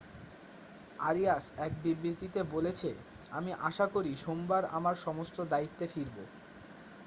"Arias এক বিবৃতিতে বলেছে আমি আশা করি সোমবার আমার সমস্ত দায়িত্বে ফিরবো "।